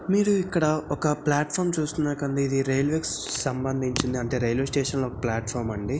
మీరు ఇక్కడ ఒక ఫ్లాట్ ఫాం చూస్తున్నటుంది. ఇది రైల్వేస్ కి సంబంధించింది. అంటే రైల్వే స్టేషన్ లో ఒక ప్లాట్ ఫాం అండి.